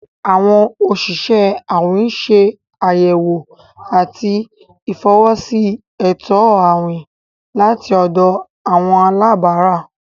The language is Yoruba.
Awọn osìsẹ̀ àwìn n ṣẹ̀ ayẹwò àti ifọwọsi ètò àwìn lati ọ̀dọ̀ àwọn alàbárà.